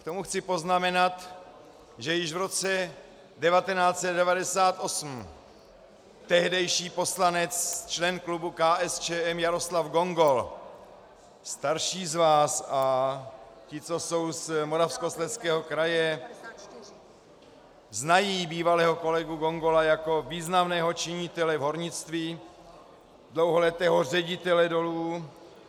K tomu chci poznamenat, že již v roce 1998 tehdejší poslanec, člen klubu KSČM Jaroslav Gongol, starší z vás a ti, co jsou z Moravskoslezského kraje, znají bývalého kolegu Gongola jako významného činitele v hornictví, dlouholetého ředitele dolů.